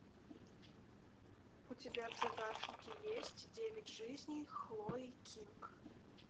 у тебя в загашнике есть девять жизней хлои кинг